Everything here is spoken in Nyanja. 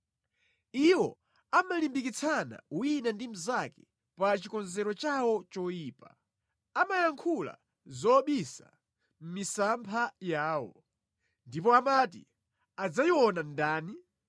Iwo amalimbikitsana wina ndi mnzake pa chikonzero chawo choyipa, amayankhula zobisa misampha yawo; ndipo amati, “Adzayiona ndani?”